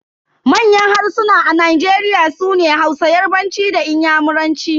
Manyan harsuna a Nigeria sune Hausa, yarbanci da inyamuranci.